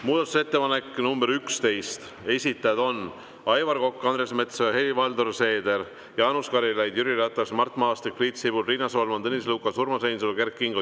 Muudatusettepanek nr 11, esitajad on Aivar Kokk, Andres Metsoja, Helir-Valdor Seeder, Jaanus Karilaid, Jüri Ratas, Mart Maastik, Priit Sibul, Riina Solman, Tõnis Lukas, Urmas Reinsalu ja Kert Kingo.